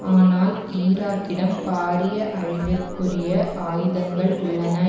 ஆனால் ஈராக்கிடம் பாரிய அழிவிற்குரிய ஆயுதங்கள் உள்ளன